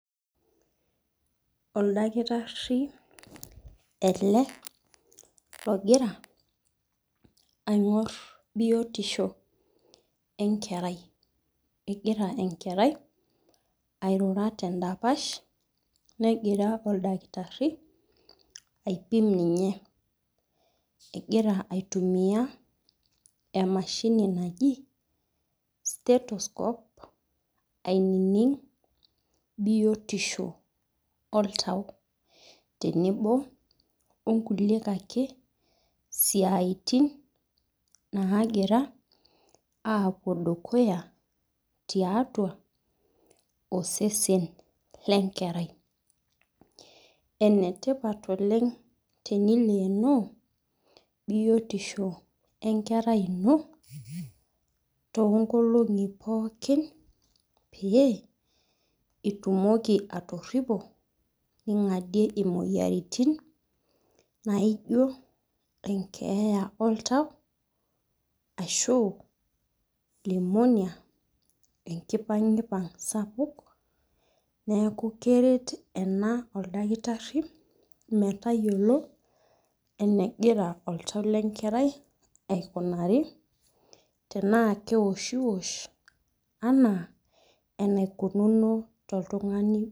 oldakitari ele, longira aingor biotisho enkerai, kengira enkerai, airura tendapash nengira oldakitari aipim ninye, engira aitumia emashini naji stestescope anining biotisho oltau, tenebo onkulie kake siaitin nangira apuo dukuya, tiatua osesen lenkerai, enetipat oleng tenilenoo biotisho, enkerai ino tonkolongi pooki, pe itumoki atoripo, ningadie imoyiaritin, naijio enkeya oltau, ashu lemonia, enkipangipang sapuk, niaku keret ena oldakitari, metayiolo enengira oltau lenkerai aikunari, tena keoshi wosh ena anaikununo toltungani,